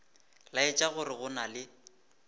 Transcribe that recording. laetša gore go na le